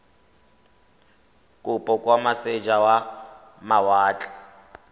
kopo kwa moseja wa mawatle